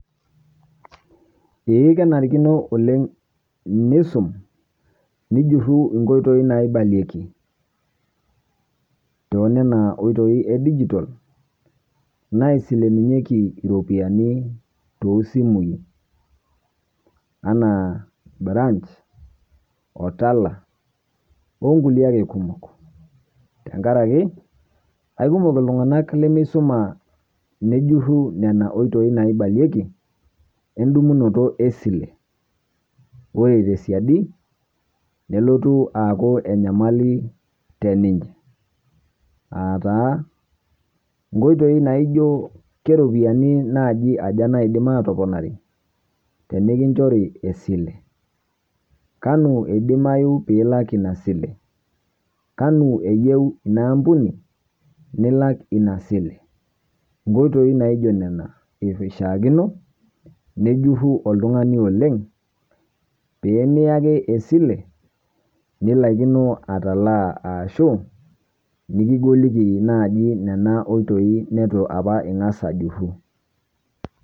Eeh kenarikino oleng tinisum nijurru nkoitoi naaibalieki to nena otoi e dijital naisilunyieki ropian to simui ana branch o Tala o nkulee ake kumook tang'araki aimook ltung'anak lemeisoma nejurru nena otoi naibaleeki endumunoto e silee. Ore te siadii nelotuu aaku enyamali teninye. Ataa nkotoi naijoo keropian najii ajaa naidiim atoponari tenekichorii esile. Kanu edimayu pilaak ena silee, kanu eiyeuu enia ampunii nilaak ena silee. Nkotoi naijoo nena eishakino nijurru oleng piimia ake esilee nilaakino atalaa ashuu niking'oliki najii nena otoi netuu apa ing'aas ajurru.